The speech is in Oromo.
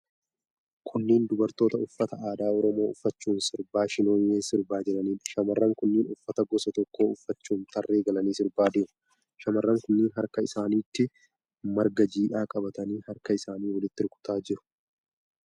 Kunneen dubartoota uffata aadaa Oromoo uffachuun sirba Shinooyyee sirbaa jiraniidha. Shamarran kunneen uffata gosa tokko uffachuun tarree galanii sirbaa deemu. Shamarran kunneen harka isaanitti marga jiidhaa qabatanii, harka isaanii walitti rukutaa jiru.